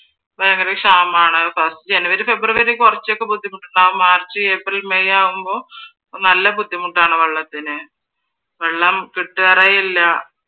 ഭയങ്കര ക്ഷാമമാണ്. january, february കുറച്ചൊക്കെ ബുദ്ധിമുട്ടുണ്ടാകും march, april, may ആവുമ്പോ നല്ല ബുദ്ധിമുട്ടാണ് വെള്ളത്തിന്. വെള്ളം കിട്ടാറേയില്ല